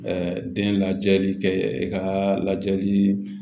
den lajɛli kɛ i ka lajɛli